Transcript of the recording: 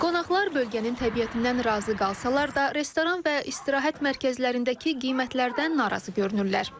Qonaqlar bölgənin təbiətindən razı qalsalar da, restoran və istirahət mərkəzlərindəki qiymətlərdən narazı görünürlər.